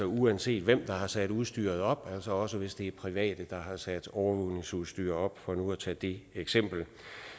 uanset hvem der har sat udstyret op altså også hvis det er private der har sat overvågningsudstyr op for nu at tage det eksempel